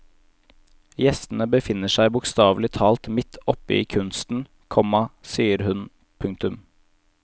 Gjestene befinner seg bokstavelig talt midt oppe i kunsten, komma sier hun. punktum